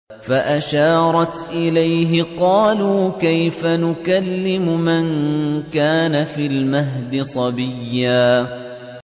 فَأَشَارَتْ إِلَيْهِ ۖ قَالُوا كَيْفَ نُكَلِّمُ مَن كَانَ فِي الْمَهْدِ صَبِيًّا